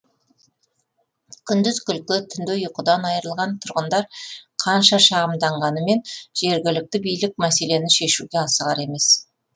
күндіз күлкі түнде ұйқыдан айырылған тұрғындар қанша шағымданғанымен жергілікті билік мәселені шешуге асығар емес